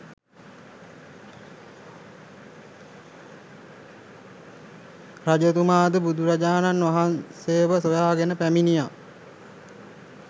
රජතුමාද බුදුරජාණන් වහන්සේව සොයාගෙන පැමිණියා